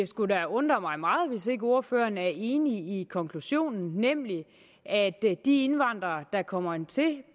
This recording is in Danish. skulle da undre mig meget hvis ikke ordføreren er enig i konklusionen nemlig at de indvandrere der kommer hertil